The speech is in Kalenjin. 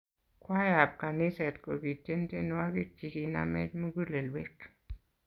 Kwaya ab kaniset kokitien tienwokik chi kinamech mugulewek